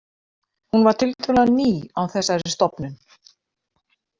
Hún var tiltölulega ný á þessari stofnun.